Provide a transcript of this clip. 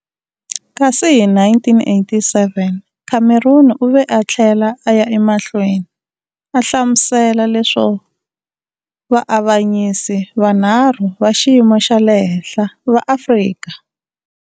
Kasi hi1987, Cameron u ve a tlhela a ya emahlweni a hlamsuela leswo vaavanyisi vanharhu va xiyimo xa le henhla va Afrika.